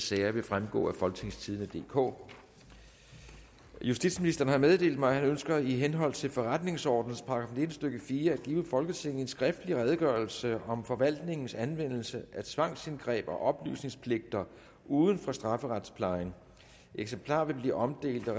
sager vil fremgå af folketingstidende DK justitsministeren har meddelt mig at han ønsker i henhold til forretningsordenens § nitten stykke fire at give folketinget en skriftlig redegørelse om forvaltningens anvendelse af tvangsindgreb og oplysningspligter uden for strafferetsplejen eksemplarer vil blive omdelt